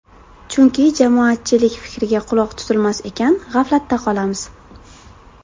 Chunki jamoatchilik fikriga quloq tutilmas ekan, g‘aflatda qolamiz.